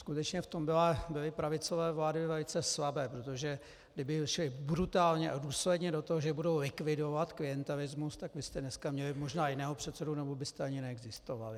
Skutečně v tom byly pravicové vlády velice slabé, protože kdyby šly brutálně a důsledně do toho, že budou likvidovat klientelismus, tak vy jste dneska měli možná jiného předsedu nebo byste ani neexistovali.